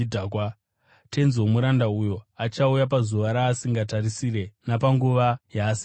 Tenzi womuranda uyo achauya pazuva raasingatarisire napanguva yaasingazivi.